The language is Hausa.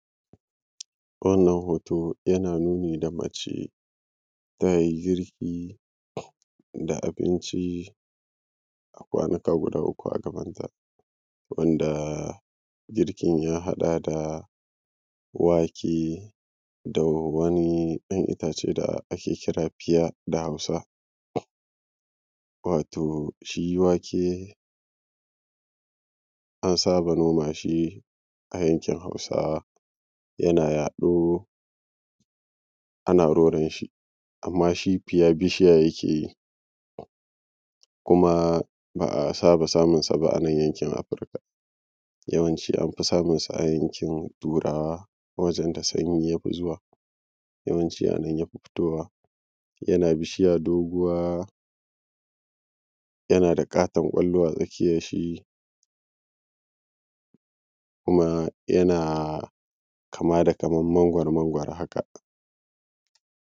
Wannan hoto yana nuni da mace ta yi girki ga abincin da kwanuka guda uku a gabanta. Girkin ya haɗa da wake da wani ɗan itace wanda ake kira fiya da Hausa. Wato shi wake an saba noma shi a yankin Hausawa yana yaɗo, ana roron shi amma shi fiya bishiya yake yi, kuma ba a saba samun sa ba a nan yankin yawanci an fi samun sa a yankin turawa inda sanyi ya fi yawanci a nan ya fi fitowa yana bishiya yana da ƙaton kwallon a tsakiyar shi kuma yana kama da kamar magoro-magoro haka